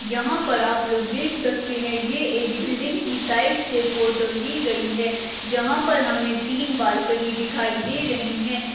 यहाँ पर आप लोग देख सकते है ये एक बिल्डिंग की साइड से फोटो ली गई है जहाँ पर हमे तीन बालकनी दिखाई दे रही है।